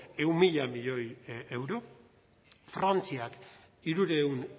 ehun mila milioi euro frantziak hirurehun